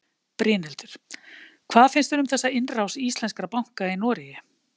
Brynhildur: Hvað finnst þér um þessa innrás íslenskra banka í Noregi?